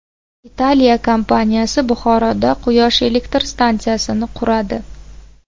Italiya kompaniyasi Buxoroda quyosh elektr stansiyasini quradi.